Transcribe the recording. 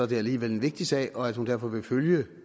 det alligevel en vigtig sag og at hun derfor vil følge